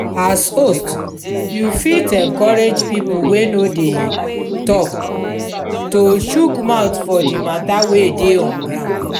as host you fit encourage pipo wey no dey talk to chook mouth for di matter wey dey on ground